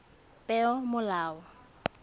peomolao